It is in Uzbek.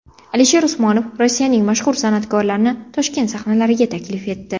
Alisher Usmonov Rossiyaning mashhur san’atkorlarini Toshkent sahnalariga taklif etdi.